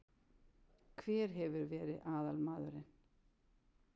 Hver hefur verið aðalmaðurinn?